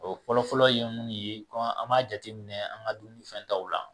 O fɔlɔ fɔlɔ ye mun ye an b'a jateminɛ an ka dumuni fɛntaw la